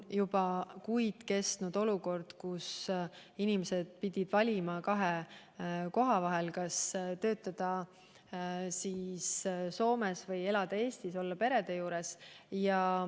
Juba kuid on seal kestnud olukord, et inimestel on tulnud valida kahe koha vahel: kas töötada Soomes või elada Eestis pere juures.